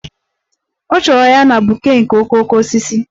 Ọ chọrọ ya na bouquet nke okooko osisi